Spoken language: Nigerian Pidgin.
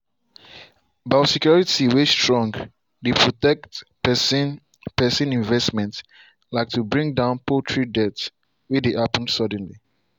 biosecurity way strong dey protect persin persin investments like to bring down poultry dealth way dey happen suddenly.